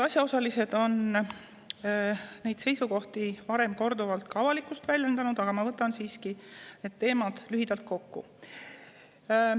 Asjaosalised on varem oma seisukohti ka avalikkuses korduvalt väljendanud, aga ma võtan siiski need teemad lühidalt kokku.